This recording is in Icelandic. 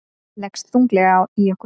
Leggst þunglega í okkur